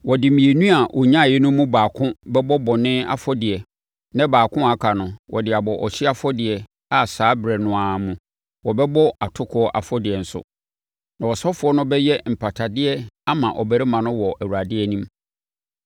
Wɔde mmienu a ɔnyaeɛ no mu baako bɛbɔ bɔne afɔdeɛ na baako a aka no, ɔde abɔ ɔhyeɛ afɔdeɛ a saa ɛberɛ no ara mu wɔbɛbɔ atokoɔ afɔdeɛ nso, na ɔsɔfoɔ no bɛyɛ mpatadeɛ ama ɔbarima no wɔ Awurade anim.”